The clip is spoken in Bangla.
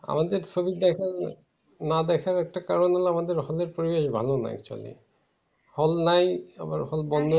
আমাদের ছবি দেখা হয় না না দেখার একটা কারণ হলো আমাদের hall এর পরিবেশ ভালো নয় actually. hall নাই তারপরে hall বন্ধ